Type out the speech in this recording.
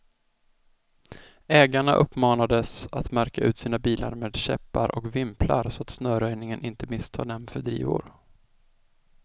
Ägarna uppmanades att märka ut sina bilar med käppar och vimplar, så att snöröjningen inte misstar dem för drivor.